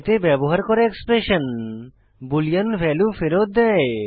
এতে ব্যবহার করা এক্সপ্রেশন বুলিয়ান ভ্যালু ফেরত দেয়